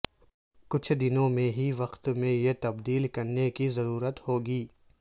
کچھ دنوں میں ہی وقت میں یہ تبدیل کرنے کی ضرورت ہو گی